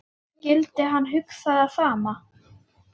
Skyldi hann hugsa það sama?